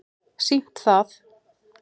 sýnt það